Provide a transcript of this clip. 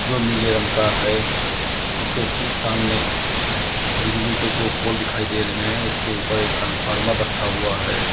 जो नीले रंग का है उसके ठीक सामने बिजली के दो पोल दिखाई दे रहे हैं उसके ऊपर एक ट्रांसफार्मर रखा हुआ है।